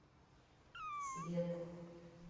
цвет